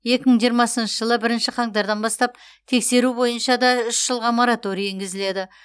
екі мың жиырмасыншы жылы бірінші қаңтардан бастап тексеру бойынша да үш жылға мораторий енгізіледі